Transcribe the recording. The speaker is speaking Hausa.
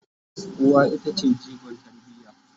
uwa ita ce jigon tarbiya